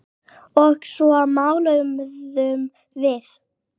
Og svo máluðum við.